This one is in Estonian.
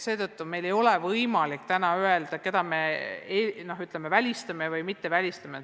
Seetõttu ei ole meil praegu võimalik öelda, keda me välistame ja keda mitte.